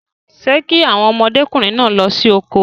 Ṣé kí àwọn ọmọdékùnrin náà lọ sí oko?